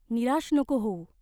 निराश नको होऊ.